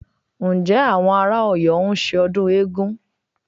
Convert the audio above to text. Ǹjẹ́ àwọn ará Ọ̀yọ́ ń ṣe ọdún eégún?